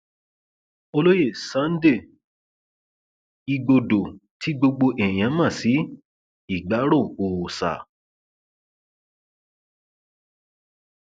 olóye sunday igbodò tí gbogbo èèyàn mọ sí ìgbárò òòsa